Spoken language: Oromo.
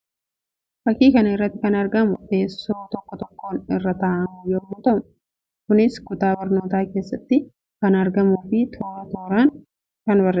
Fakkii kana irratti kan argamuu teessuma tokko tokkoon irra taa'aamu yammuu ta'u; kunis kutaa barnootaa keessatti kan argamuu fi tooraa tooraan hiriirfamee kan jiru ta'u isaa fakkii namaatti agarsiisuu dha.